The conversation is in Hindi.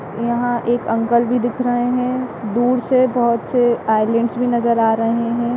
यहाँ एक अंकल भी दिख रहे है दूर से बहुत से आइलैंडस भी नज़र आ रहे है।